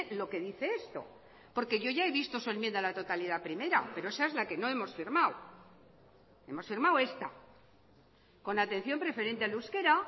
lo que dice esto porque yo ya he visto su enmienda a la totalidad primera pero esa es la que no hemos firmado hemos firmado esta con atención preferente al euskera